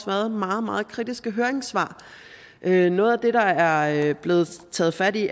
været meget meget kritiske høringssvar noget af det der er blevet taget fat i